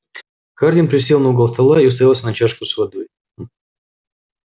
хардин присел на угол стола и уставился на чашку с водой